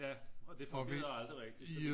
Ja og det fungerede aldrig rigtig